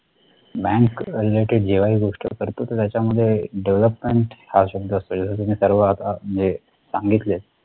bank related जेव्हाही गोष्ट करतो तर त्याच्या मध्ये development हा शब्द असते. तुम्ही सर्व आता म्हणजे सांगितले